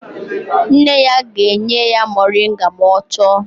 Nne ya ga-enye ya moringa ma ọ chọọ